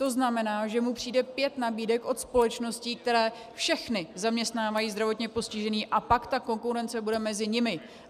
To znamená, že mu přijde pět nabídek od společností, které všechny zaměstnávají zdravotně postižené, a pak ta konkurence bude mezi nimi.